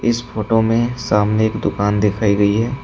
इस फोटो में सामने एक दुकान दिखाई गई है।